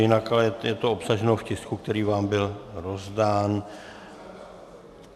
Jinak ale je to obsaženo v tisku, který vám byl rozdán.